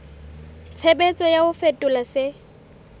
tshebetso ya ho fetola se